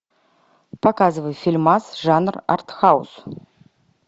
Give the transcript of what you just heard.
показывай фильмас жанр артхаус